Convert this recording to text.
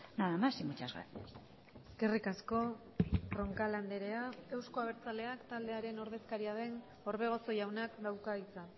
nada más y muchas gracias eskerrik asko roncal andrea euzko abertzaleak taldearen ordezkaria den orbegozo jaunak dauka hitza